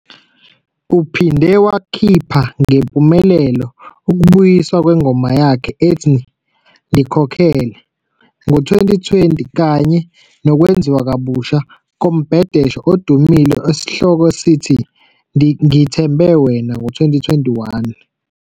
Uphinde wakhipha ngempumelelo ukubuyiswa kwengoma yakhe ethi "Ndikokhele" ngo-2020 kanye nokwenziwa kabusha kombhedesho odumile osihloko sithi "Ngi thembe wena" ngo-2021.